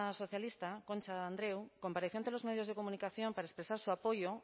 socialista concha andreu compareció ante los medios de comunicación para expresar su apoyo